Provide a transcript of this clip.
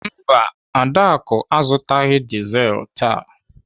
Mba, Adaku azụtaghị dizelu taa.